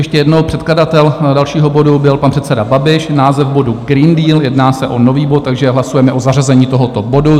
Ještě jednou, předkladatel dalšího bodu byl pan předseda Babiš, název bodu Green Deal, jedná se o nový bod, takže hlasujeme o zařazení tohoto bodu.